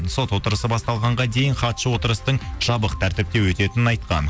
сот отырысы басталғанға дейін хатшы отырыстың жабық тәртіпке өтетінін айтқан